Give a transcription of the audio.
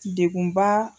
Degun ba